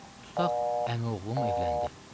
Tutaq əmioğlum evləndi.